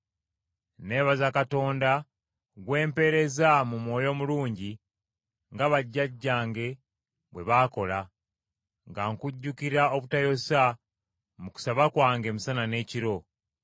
Neebaza Katonda gwe mpeereza mu mwoyo omulungi nga bajjajjange bwe baakola, nga nkujjukira obutayosa mu kusaba kwange emisana n’ekiro.